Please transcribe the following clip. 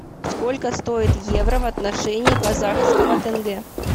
сколько стоит евро в отношении казахского тенге